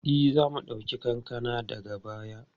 E, za mu ɗauki kankana daga baya.